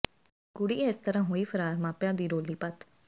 ਕੁੜੀ ਇਸ ਤਰਾਂ ਹੋਈ ਫਰਾਰ ਮਾਪਿਆਂ ਦੀ ਰੋਲੀ ਪਤ